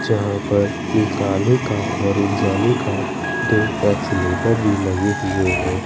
जहां पर एक आने का और एक जाने का दो एक्सीलेटर भी लगे हुए है।